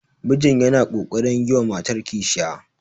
mijin yana ƙoƙarin yi mata kishiyar